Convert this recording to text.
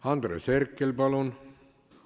Andres Herkel, palun!